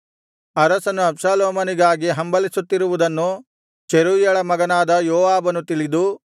ಅರಸನು ಅಬ್ಷಾಲೋಮನಿಗಾಗಿ ಹಂಬಲಿಸುತ್ತಿರುವುದನ್ನು ಚೆರೂಯಳ ಮಗನಾದ ಯೋವಾಬನು ತಿಳಿದು